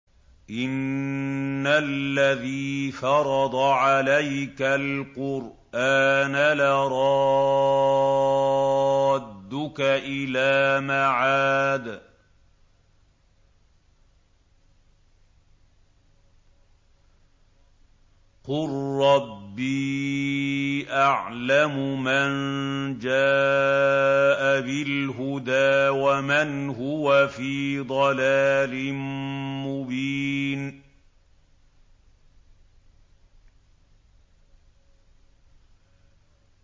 إِنَّ الَّذِي فَرَضَ عَلَيْكَ الْقُرْآنَ لَرَادُّكَ إِلَىٰ مَعَادٍ ۚ قُل رَّبِّي أَعْلَمُ مَن جَاءَ بِالْهُدَىٰ وَمَنْ هُوَ فِي ضَلَالٍ مُّبِينٍ